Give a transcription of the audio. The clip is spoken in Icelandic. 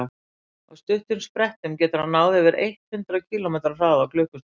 á stuttum sprettum getur hann náð yfir eitt hundruð kílómetri hraða á klukkustund